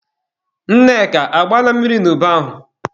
Nneka, agbaala mmiri n'ubi ahụ?